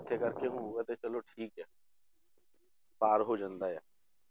ਇਕੱਠੇ ਕਰਕੇ ਹੋਊਗਾ ਤੇ ਚਲੋ ਠੀਕ ਹੈ ਪਾਰ ਹੋ ਜਾਂਦਾ ਆ